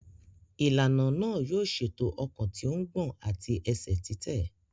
Ìlànà náà yóò ṣètò ọkàn tí ó ń gbọ̀n àti ẹsẹ̀ títẹ̀.